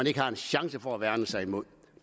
ikke har en chance for at værne sig imod